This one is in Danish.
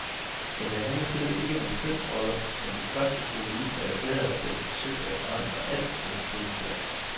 Men det handler slet ikke om kønsroller, som de første feminister erklærede, da de forsøgte at forandre alt med et trylleslag.